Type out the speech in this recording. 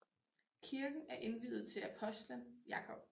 Kirken er indviet til apostelen Jakob